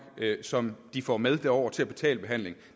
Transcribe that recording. som de får med derover til at betale behandlingen